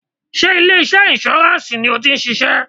Sé ilé iṣẹ́ insurance ni o ti ń ṣiṣẹ́?